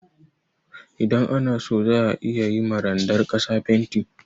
Idan ana so za a iya ma randar ƙasa fenti.